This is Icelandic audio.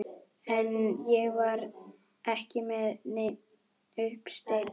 En ég var ekki með neinn uppsteyt.